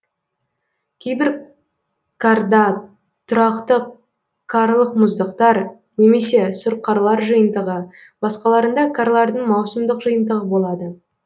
кейбір карда тұрақты карлық мұздықтар немесе сұрқарлар жиынтығы басқаларында карлардың маусымдық жиынтығы болады